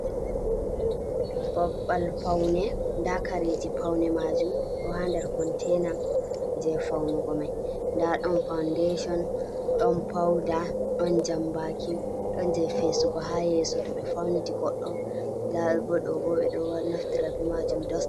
Babbal paune nda kareji paune majum ɗo ha ndar containa je faunugo mai, nda ɗon faundation ɗon pauda ɗon jambaki ɗon je fesugo ha yeso to be fauniti, goɗɗo debbo ɓeɗo naftira be majum.